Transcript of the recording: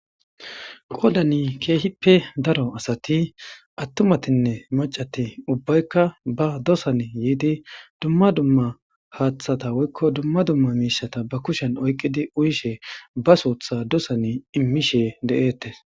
Qoyddan kehipe daro asati atumatine maccati ubbayka ba dosan yidi duma duma haththata woykko duma duma mishata ba kushiyan oyiqidi uyishe ba suththa dosan imishe de'etes.